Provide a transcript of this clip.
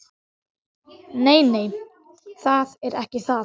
Nei, nei, það er ekki það.